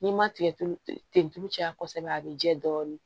N'i ma tigɛ tulu ten tulu caya kosɛbɛ a bɛ jɛ dɔɔnin